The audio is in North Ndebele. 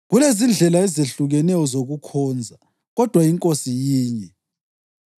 Kulezindlela ezehlukeneyo zokukhonza, kodwa iNkosi yinye.